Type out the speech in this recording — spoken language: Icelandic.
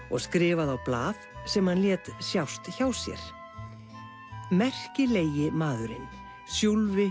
og skrifaði á blað sem hann lét sjást hjá sér merkilegi maðurinn